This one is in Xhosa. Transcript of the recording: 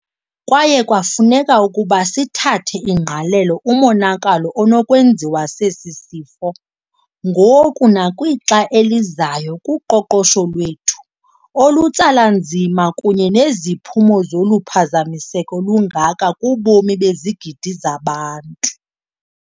Kwaye kwafuneka ukuba sithathele ingqalelo umonakalo onokwenziwa sesi sifo ngoku nakwixa elizayo kuqoqosho lwethu olutsala nzima kunye neziphumo zoluphazamiseko lungaka kubomi bezigidi zabantu.